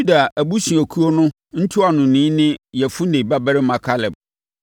Yuda abusuakuo no ntuanoni ne Yefune babarima Kaleb;